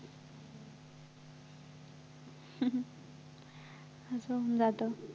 हम्म जातं